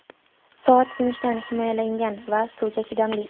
Soat sinishdan himoyalangan va suvga chidamli.